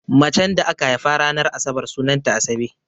Macen da aka haifa ranar asabar sunanta Asabe.